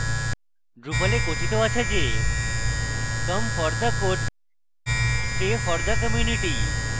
drupal এ কথিত আছে যে come for the code stay for the community